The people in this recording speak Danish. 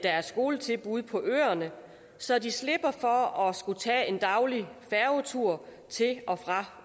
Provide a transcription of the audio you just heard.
er skoletilbud på øerne så de slipper for at skulle tage en daglig færgetur til og fra